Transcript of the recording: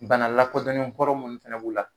Bana lakodɔnnen kɔrɔ munnu fɛnɛ b'u la